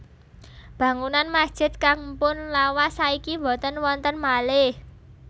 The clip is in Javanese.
Bangunan masjid kang mpun lawas saiki boten wonten malih